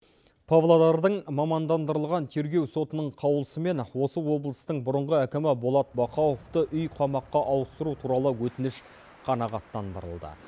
павлодардың мамандандырылған тергеу сотының қаулысымен осы облыстың бұрынғы әкімі болат бақауовты үй қамаққа ауыстыру туралы өтініш қанағаттандырылды